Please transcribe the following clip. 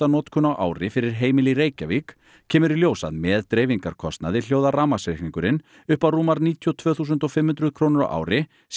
notkun á ári fyrir heimili í Reykjavík kemur í ljós að með dreifingarkostnaði hljóðar rafmagnsreikningurinn upp á rúmar níutíu og tvö þúsund og fimm hundruð krónur á ári sé